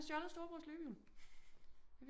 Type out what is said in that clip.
Han har stjåldet storebrors løbehjul